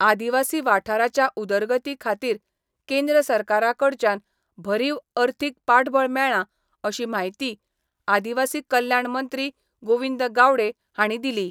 आदिवासी वाठाराच्या उदरगती खातीर केंद्र सरकारा कडच्यान भरीव अर्थिक पाठबळ मेळ्ळां अशी म्हायती आदिवासी कल्याण मंत्री गोविंद गावडे हांणी दिली.